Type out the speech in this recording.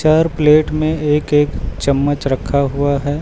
हर plate में एक एक चम्मच रखा हुआ है।